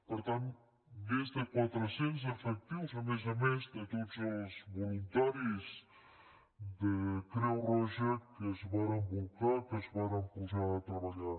per tant més de quatre cents efectius a més a més de tots els voluntaris de creu roja que s’hi varen bolcar que es varen posar a treballar